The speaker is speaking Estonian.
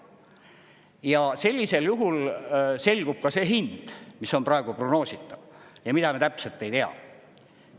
Ja sellisel juhul selgub ka see hind, mis on praegu prognoositav ja mida me täpselt ei tea.